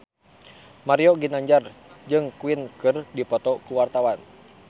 Mario Ginanjar jeung Queen keur dipoto ku wartawan